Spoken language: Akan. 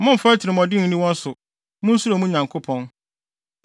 Mommfa atirimɔden nni wɔn so; munsuro mo Nyankopɔn.